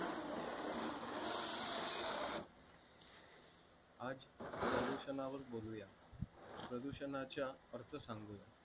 आज प्रदूषणावर बोलूया प्रदूषणाच्या अर्थ सांगूया